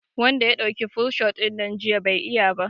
Wanda ya dauki full shot dinnan jiya bai iya ba